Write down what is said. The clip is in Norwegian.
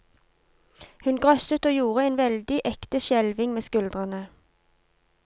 Hun grøsset og gjorde en veldig ekte skjelving med skuldrene.